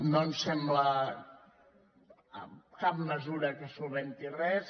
no ens sembla cap mesura que solucioni res